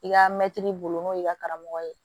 I ka mɛtiri bolo n'o y'i ka karamɔgɔ ye